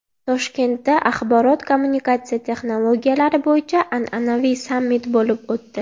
Toshkentda axborot-kommunikatsiya texnologiyalari bo‘yicha an’anaviy sammit bo‘lib o‘tdi.